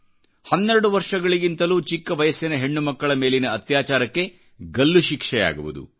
ಹನ್ನೆರಡು ವರ್ಷಗಳಿಗಿಂತಲೂ ಚಿಕ್ಕ ವಯಸ್ಸಿನಹೆಣ್ಣುಮಕ್ಕಳ ಮೇಲಿನ ಅತ್ಯಾಚಾರಕ್ಕೆ ಗಲ್ಲು ಶಿಕ್ಷೆಯಾಗುವುದು